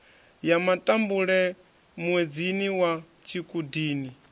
ya matambule muedzini wa tshikhudini